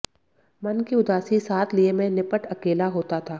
मन की उदासी साथ लिए मै निपटअकेला होता था